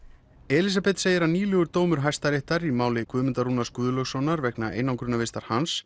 einangrunarvistun Elísabet segir að nýlegur dómur Hæstaréttar í máli Guðmundar Rúnars Guðlaugssonar vegna einangrunarvistar hans